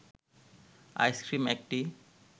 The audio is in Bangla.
আইসক্রিম একটি